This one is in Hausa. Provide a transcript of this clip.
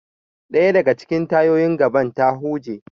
Daya daga cikin tayoyin gaban ta huje.